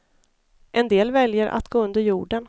En del väljer att gå under jorden.